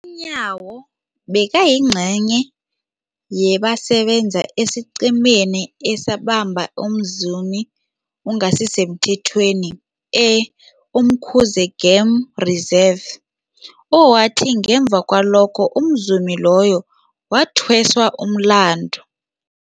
UNyawo bekayingcenye yabasebenza esiqhemeni esabamba umzumi ongasisemthethweni e-Umkhuze Game Reserve, owathi ngemva kwalokho umzumi loyo wathweswa umlandu.